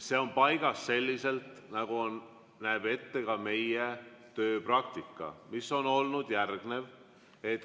See on paigas selliselt, nagu näeb ette ka meie tööpraktika, mis on olnud järgnev.